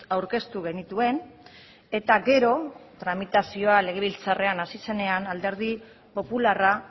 aurkeztu genituen eta gero tramitazioa legebiltzarrean hasi zenean alderdi popularra